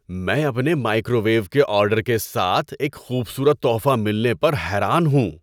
میں اپنے microwave کے آرڈر کے ساتھ ایک خوبصورت تحفہ ملنے پر حیران ہوں۔